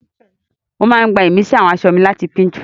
Mo máa ń gbá ìmísí àwọn aṣọ mi láti Pinterest